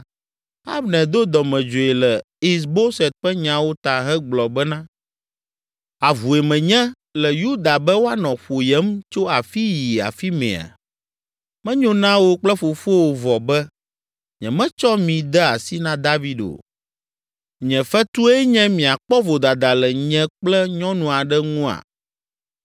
Abner do dɔmedzoe le Is Boset ƒe nyawo ta hegblɔ bena, “Avue menye le Yuda be woanɔ ƒoyem tso afii yi afimɛa? Menyo na wò kple fofowò vɔ be nyemetsɔ mi de asi na David o. Nye fetue nye miakpɔ vodada le nye kple nyɔnu aɖe ŋua?